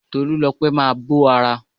Tolúlopẹ́ máa bó ara.